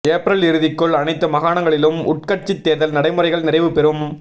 April இறுதிக்குள் அனைத்து மாகாணங்களிலும் உட்கட்சித் தேர்தல் நடைமுறைகள் நிறைவு பெறும்